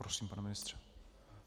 Prosím, pane ministře.